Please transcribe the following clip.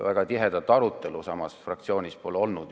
Väga tihedat arutelu pole samas fraktsioonis olnud.